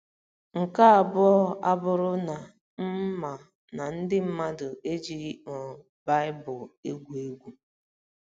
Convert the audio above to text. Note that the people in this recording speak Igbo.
Nke abụọ abụrụ na m ma na ndị mmadụ ejighị um Baịbụl egwu egwu.